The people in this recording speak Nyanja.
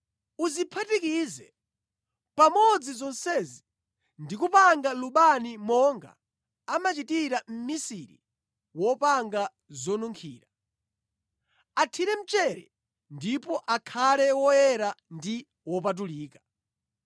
Uziphatikize pamodzi zonsezi ndi kupanga lubani monga amachitira mmisiri wopanga zonunkhira. Athire mchere ndipo akhale woyera ndi wopatulika.